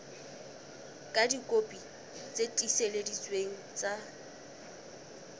ka dikopi tse tiiseleditsweng tsa